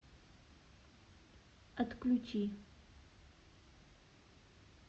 отключи